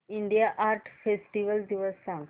India art festival दिवस सांग